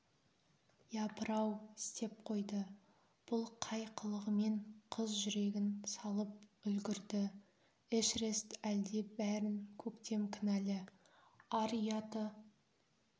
япырау істеп қойды бұл қай қылығымен қыз жүрегін салып үлгірді эшерест әлде бәрін көктем кінәлі ар-ұяты